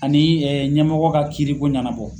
Ani ɲɛmɔgɔ ka kiiriko ŋɛnabɔ.